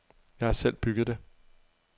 Jeg har selv bygget det.